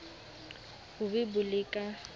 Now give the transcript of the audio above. bo be bo le ka